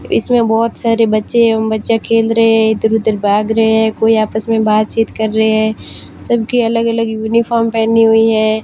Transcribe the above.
इसमें बहोत सारे बच्चे एवं बच्चा खेल रहे हैं इधर उधर भाग रहे हैं कोई आपस में बातचीत कर रहे हैं सबकी अलग अलग यूनिफॉर्म पेहनी हुई है।